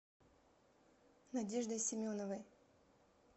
надеждой семеновой